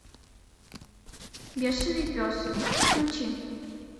бешеный пес включи